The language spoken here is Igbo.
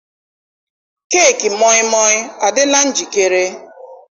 keeki moi moi adịla njikere?